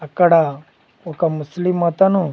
అక్కడ ఒక ముస్లిం అతను--